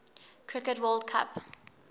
cricket world cup